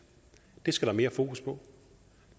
det skal der mere fokus på og